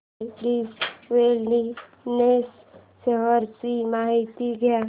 Zydus wellness shares ची माहिती द्या